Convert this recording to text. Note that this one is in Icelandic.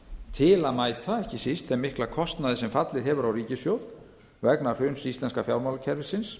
til að mæta ekki síst þeim mikla kostnaði sem fallið hefur á ríkissjóð vegna hruns íslenska fjármálakerfisins